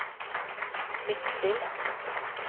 Midtstill